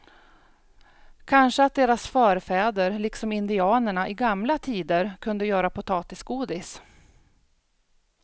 Kanske att deras förfäder liksom indianerna i gamla tider kunde göra potatisgodis.